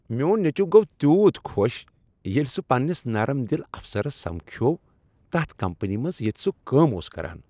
میون نیٚچو گو تیوت خۄش ییٚلہ سہ پننس نرم دل افسرس سمکھیوٚوتتھ کمپنی منز ییٚتہ سُہ کٲم اوس کران۔